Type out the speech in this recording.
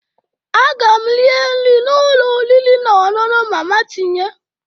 Aga m rie nri n'ụlọ oriri na ọṅụṅụ mama tinye